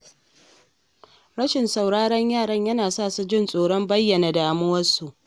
Rashin sauraron yara yana sa su jin tsoron bayyana damuwarsu.